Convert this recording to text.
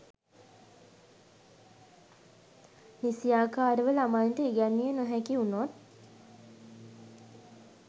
නිසියාකාරව ළමයින්ට ඉගැන්විය නොහැකි වුණොත්